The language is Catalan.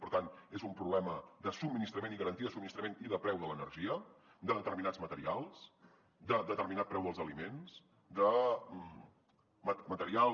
per tant és un problema de subministrament de garantia de subministrament i de preu de l’energia de determinats materials de determinat preu dels aliments de materials